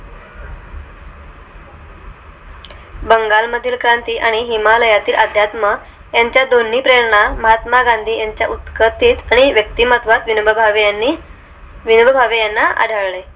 बंगाल मधील क्रांती आणि हिमालया तील अध्यात्म यांच्या दोन्ही प्रेरणा महात्मा गांधी यांच्या उत्कतेत आणि व्यक्तीमत्वात विनोबा भावे यांना आढळले